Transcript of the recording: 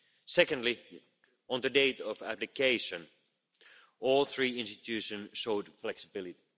Secondly, on the date of application, all three institutions showed flexibility.